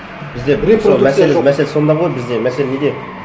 бізде мәселе сонда ғой бізде мәселе неде